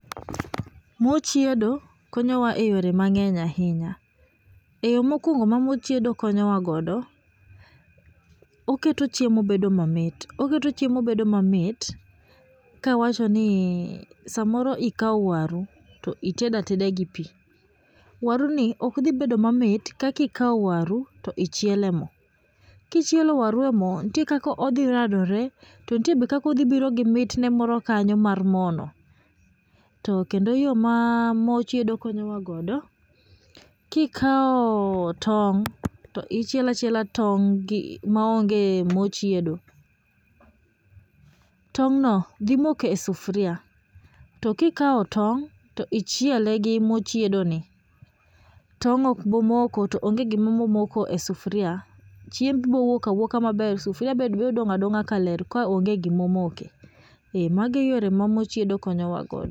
Mor chiedo konyowa eyore mang'eny ahinya, e yo mokuongo ma mor chiedo konyowa godo oketo chiemo bedo mamit, oketo chiemo bedo mamit. Kawacho ni samoro ikawo waru to itedo ateda gi pi. Waruni ok dhi bedo mamit kaka kikawo waru to ichielo e mo. Kichielo waru e mo nitie kaka odhi radore to nitie be kaka odhi biro gi mitne moro kanyo mar mo no to kendo yo ma mor chiedo konyowa godo, kikawo tong' to ichielo achiela tong' maonge mor chiedo, tong' no dhi moko e sufuria. To kikawo tong' to ichiele gi mor chiedoni, tong' ok bi moko to onge gima dhi moko e sufuria. Chiemo bo wuok awuoka e sufuria to sufuria be biro dong' adong'a kaler, to kaonge gima omoke. Ee mago e yore ma mor chiedo konyowago.